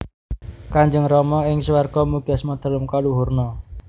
Kanjeng Rama ing swarga Mugi Asma Dalem kaluhurna